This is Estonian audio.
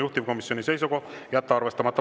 Juhtivkomisjoni seisukoht: jätta arvestamata.